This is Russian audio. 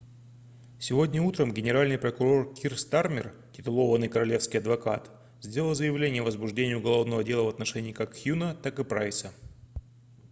сегодня утром генеральный прокурор кир стармер kier starmer титулованный королевский адвокат сделал заявление о возбуждении уголовного дела в отношении как хьюна так и прайса